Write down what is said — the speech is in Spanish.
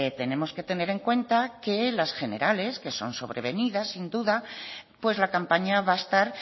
tenemos que tener en cuenta que las generales que son sobrevenidas sin duda pues la campaña va a estar